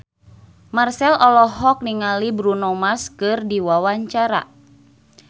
Marchell olohok ningali Bruno Mars keur diwawancara